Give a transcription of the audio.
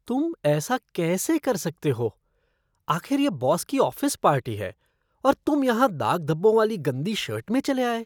तुम ऐसा कैसे कर सकते हो? आखिर ये बॉस की ऑफ़िस पार्टी है, और तुम यहाँ दाग धब्बों वाली गंदी शर्ट में चले आए।